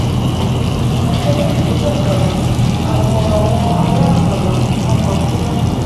ti a ko ba sanwo igbese akaba aabo awọn ara akaba a maa kuna.